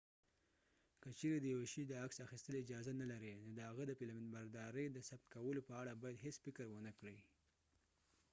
که چیرې د یو شي د عکس اخیستل اجازه نلري نو د هغه د فلمبردارۍ د ثبت کولو په اړه باید هیڅ فکر ونکړې